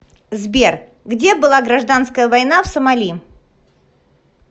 сбер где была гражданская война в сомали